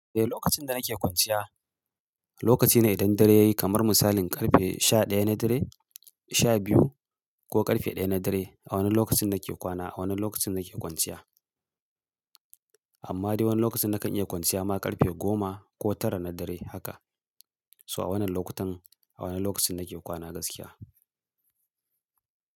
Eh, lokacin da nake kwanciya lokaci ne idan dare yayi kamar misalin karfe sha ɗaya na dare, sha biyu ko karfe ɗaya na dare. A wannan lokacin nake kwana, a wannan lokacin nake kwanciya. Amma dai wani lokaci nakan iya kwanciya ma karfe goma ko tara na dare haka. So a wannan lokutan a wannan lokacin nake kwana gaskiya.